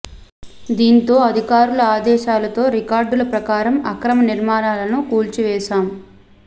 దీంతో అధికారుల ఆదేశాలతో రికార్డుల ప్రకారం అక్రమ నిర్మాణాలను కూల్చివేశాం